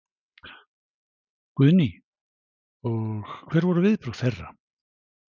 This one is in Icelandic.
Guðný: Og hver voru viðbrögð þeirra?